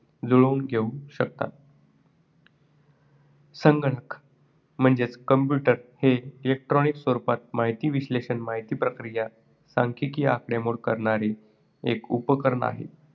जुळवून घेऊ शकतात. संगणक म्हणजेच computer हे electronic स्वरूपात माहिती विश्लेषण, माहिती प्रक्रिया, सांखिकी आकडेमोड करणारे एक उपकरण आहे.